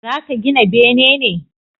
Za ka gina bene ne?